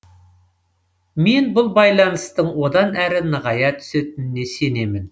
мен бұл байланыстың одан әрі нығая түсетініне сенемін